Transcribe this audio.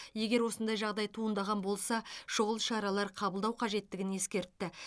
егер осындай жағдай туындаған болса шұғыл шаралар қабылдау қажеттілігін ескертті